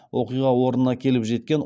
оқиға орнына келіп жеткен